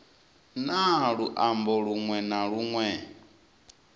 na luambo lunwe na lunwe